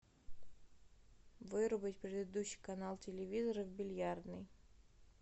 вырубить предыдущий канал телевизора в бильярдной